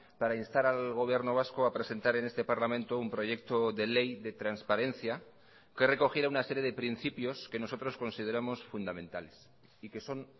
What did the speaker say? para instar al gobierno vasco a presentar en este parlamento un proyecto de ley de transparencia que recogiera una serie de principios que nosotros consideramos fundamentales y que son